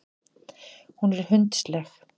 Hún er hundsleg.